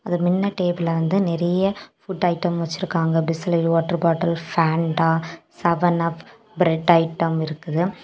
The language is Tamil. அது மின்ன டேபிள்ல வந்து நெறைய புட் ஐட்டம் வெச்சுருக்காங்க Bisleri water bottle Fanta seven up bread item இருக்குது.